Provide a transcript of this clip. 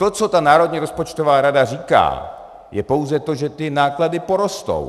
To, co ta Národní rozpočtová rada říká, je pouze to, že ty náklady porostou.